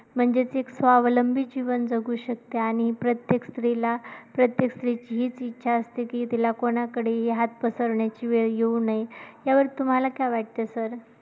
म्हणजे ती स्वावलंबी जीवन जगू शकते आणि प्रत्येक स्त्रीला प्रत्येक स्त्रीची हीच इच्छा असते की तिला कोणाकडेही हात पसरण्याची वेळ येऊ नये, ह्यावर तुम्हाला काय वाटते sir?